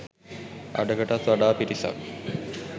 අඩකටත් වඩා පිරිසක්